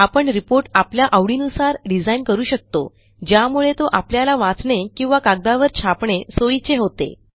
आपण रिपोर्ट आपल्या आवडीनुसार डिझाईन करू शकतो ज्यामुळे तो आपल्याला वाचणे किंवा कागदावर छापणे सोयीचे होते